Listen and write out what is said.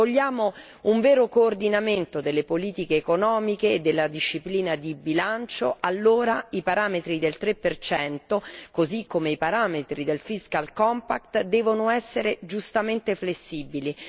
Se vogliamo un vero coordinamento delle politiche economiche e della disciplina di bilancio, allora i parametri del 3, così come i parametri del fiscal compact devono essere giustamente flessibili.